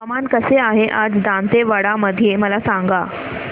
हवामान कसे आहे आज दांतेवाडा मध्ये मला सांगा